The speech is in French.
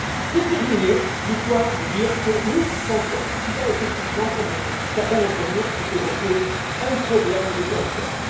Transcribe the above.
Pour terminer, je dois vous dire que nous pensons qu'il y a effectivement, comme certains d'entre vous l'ont évoqué, un problème de confiance.